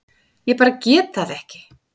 Ég bara get það ekki.